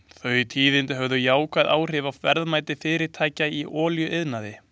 Þau tíðindi höfðu jákvæð áhrif á verðmæti fyrirtækja í olíuiðnaði.